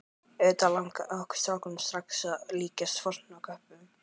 Auðvitað langaði okkur strákana strax að líkjast fornköppunum.